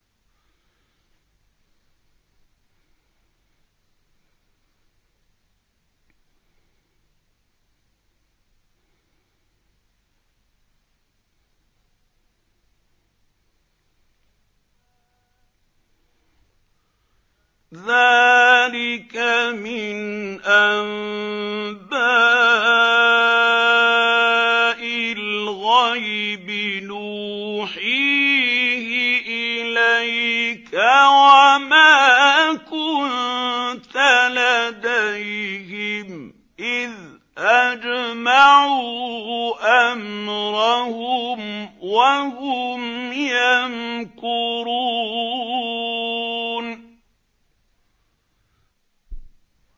ذَٰلِكَ مِنْ أَنبَاءِ الْغَيْبِ نُوحِيهِ إِلَيْكَ ۖ وَمَا كُنتَ لَدَيْهِمْ إِذْ أَجْمَعُوا أَمْرَهُمْ وَهُمْ يَمْكُرُونَ